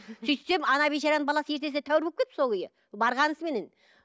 сөйтсем ана бейшараның баласы ертесіне тәуір болып кетіпті сол күйі барғанысыменен